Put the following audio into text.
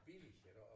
Billige iggå og